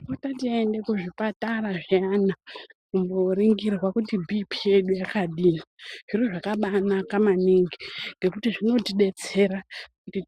Tinofana tiende kuzvipatara zviyana kumbooningirwa kuti bhiipii yedu yakadii. Zviro zvakabaanaka maningi ngekuti zvinotidetsera